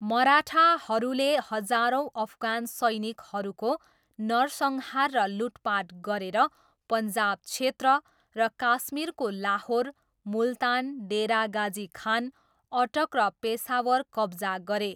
मराठाहरूले हजारौँ अफगान सैनिकहरूको नरसंहार र लुटपाट गरेर पन्जाब क्षेत्र र काश्मीरको लाहोर, मुल्तान, डेरा गाजी खान, अटक र पेसावर कब्जा गरे।